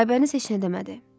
Aybəniz heç nə demədi.